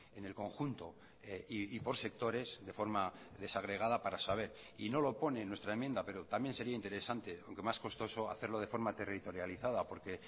en el conjunto y por sectores de forma desagregada para saber y no lo pone en nuestra enmienda pero también sería interesante aunque más costoso hacerlo de forma territorializada porque